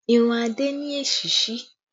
Irun adé ni èsísí